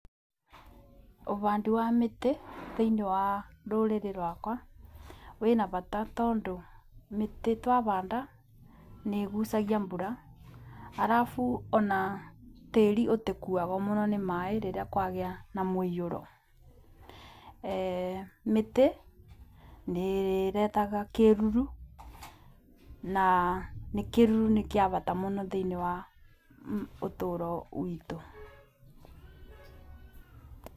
Ũbandi wa mĩtĩ thĩinĩ wa rũrĩrĩ rwakwa, wĩna bata tondũ mĩtĩ twabanda nĩgucagia mbura. Arabu ona tĩri ũtĩkuagwo mũno nĩ maaĩ rĩrĩa kwagĩa na mũiyũro. Mĩtĩ nĩretaga kĩruru na kĩruru nĩkĩa bata mũno thĩinĩ wa ũtũro witũ.